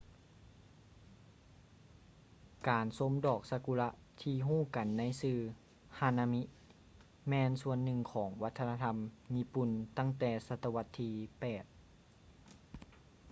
ການຊົມດອກຊາກຸຣະທີ່ຮູ້ກັນໃນຊື່ hanami ແມ່ນສ່ວນໜຶ່ງຂອງວັດທະນະທຳຍີ່ປຸ່ນຕັ້ງແຕ່ສະຕະວັດທີ 8